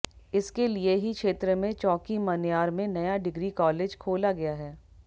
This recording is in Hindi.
इसके लिए ही क्षेत्र में चौकी मन्यार में नया डिग्री कालेज खोला गया है